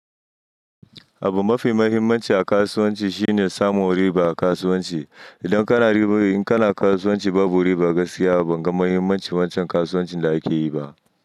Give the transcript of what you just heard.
Abu mafi muhimmanci a kasuwanci shine samun riba a kasuwanci. Idan kana kasuwanci babu riba gaskiya, ban ga mahimmancin wancan kasuwancin da ake yi ba.